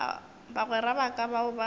bagwera ba ka bao ba